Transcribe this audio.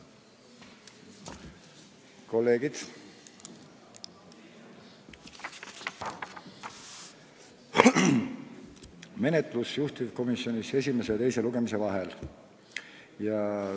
Valgustan menetlust juhtivkomisjonis esimese ja teise lugemise vahel.